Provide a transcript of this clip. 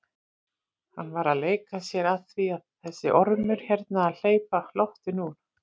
Hann var að leika sér að því þessi ormur hérna að hleypa loftinu úr!